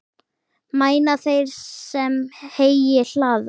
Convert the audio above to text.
Mæna þeir, sem heyi hlaða.